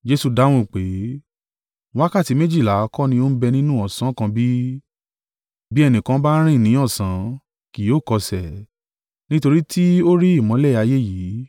Jesu dáhùn pé, “Wákàtí méjìlá kọ́ ni ó bẹ nínú ọ̀sán kan bí? Bí ẹnìkan bá rìn ní ọ̀sán, kì yóò kọsẹ̀, nítorí tí ó rí ìmọ́lẹ̀ ayé yìí.